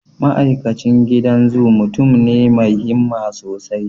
Ma'aikacin gidan zu mutum ne mai himma sosai.